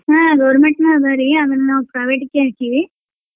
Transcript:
ಹಾ government ನೂ ಅದರಿ ಅಮೇಲ್ ನಾವ್ private ಗೆ ಹಾಕಿವಿ.